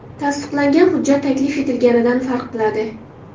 Tasdiqlangan hujjat taklif etilganidan farq qiladi.